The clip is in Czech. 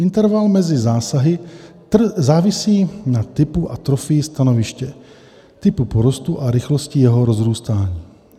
"Interval mezi zásahy závisí na typu a trofii stanoviště, typu porostu a rychlosti jeho rozrůstání.